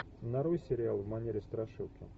нарой сериал в манере страшилки